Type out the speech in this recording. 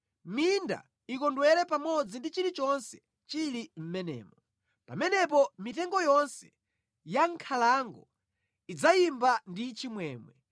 minda ikondwere pamodzi ndi chilichonse chili mʼmenemo. Pamenepo mitengo yonse ya mʼnkhalango idzayimba ndi chimwemwe;